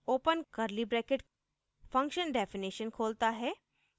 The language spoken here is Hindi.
open curly bracket function definition खोलता है